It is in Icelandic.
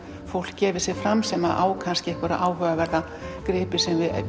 fólk gefi sig fram sem á kannski áhugaverða gripi